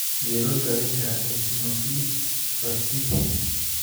Sidee loo daweyn karaa eosinophilic fasciitis?